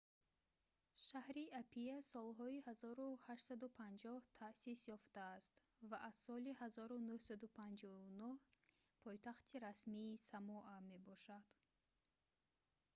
шаҳри апиа солҳои 1850 таъсис ёфтааст ва аз соли 1959 пойтахти расмии самоа мебошад